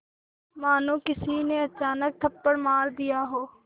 मानो किसी ने अचानक थप्पड़ मार दिया हो